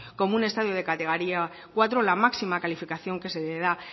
como un estadio de categoría cuatro la máxima calificación que se le da